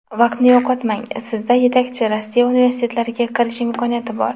Vaqtni yo‘qotmang, sizda yetakchi Rossiya universitetlariga kirish imkoniyati bor!